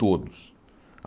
Todos.